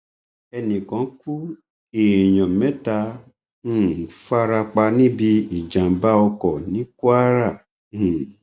ẹnì kan kú èèyàn mẹta um fara pa níbi ìjàmbá ọkọ ní kwara um